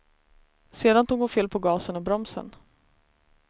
Sedan tog hon fel på gasen och bromsen.